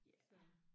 Ja